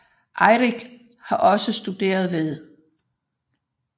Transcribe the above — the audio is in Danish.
Eirik havde også studeret ved St